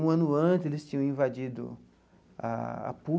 Um ano antes, eles tinham invadido a a PUC.